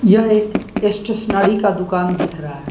यह एक स्टेशनड़ी का दुकान दिख रा --